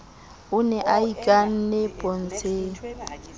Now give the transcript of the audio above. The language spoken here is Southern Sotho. o ne a ikane pontsheng